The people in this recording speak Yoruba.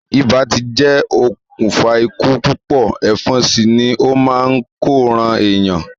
Ibà ti jẹ́ okùnfà ikú púpọ̀, ẹ̀fọn sì ni ó máa n ko ran èèyàn.